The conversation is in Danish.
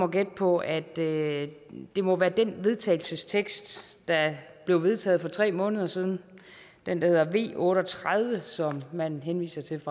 gætte på at det det må være den vedtagelsestekst der blev vedtaget for tre måneder siden den der hedder v otte og tredive som man henviser til